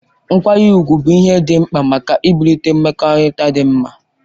Nkwanye ugwu bụ ihe dị mkpa maka ibulite mmekọrịta dị mma